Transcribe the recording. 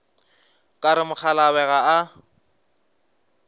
ka re mokgalabje ga a